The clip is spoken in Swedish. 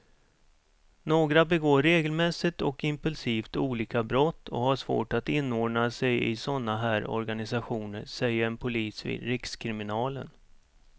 Några begår regelmässigt och impulsivt olika brott och har svårt att inordna sig i såna här organisationer, säger en polis vid rikskriminalen.